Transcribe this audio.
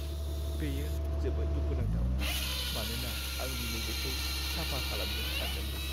बेयो जोबोद दुखु नांथाव, मानोना आं दिनै बेखौ साफा खालामगोन सानदोंमोन।